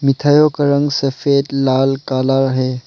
मिठाइयो का रंग सफेद लाल काला है।